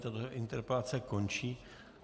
Tato interpelace končí.